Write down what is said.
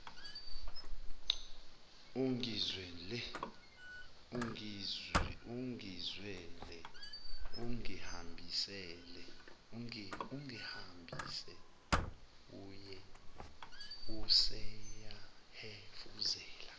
ungizwele ungihambise useyahefuzela